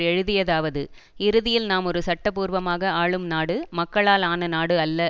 எழுதியதாவது இறுதியில் நாம் ஒரு சட்டபூர்வமாக ஆளும் நாடு மக்களால் ஆன நாடு அல்ல